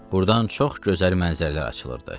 Burdan çox gözəl mənzərələr açılırdı.